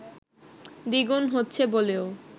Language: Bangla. দ্বিগুণ হচ্ছে বলেও